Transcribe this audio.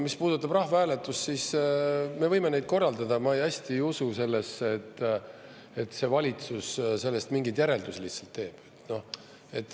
Mis puudutab rahvahääletust, siis me võime neid korraldada, aga ma hästi ei usu sellesse, et see valitsus sellest mingeid järeldusi teeb.